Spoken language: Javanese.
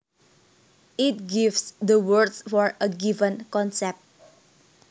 It gives the words for a given concept